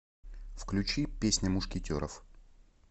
включи песня мушкетеров